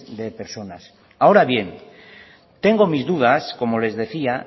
de personas ahora bien tengo mis dudas como les decía